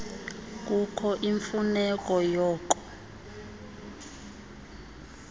kukho imfuneko yoko